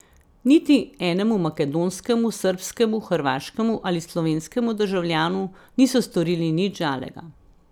Niti enemu makedonskemu, srbskemu, hrvaškemu ali slovenskemu državljanu niso storili nič žalega.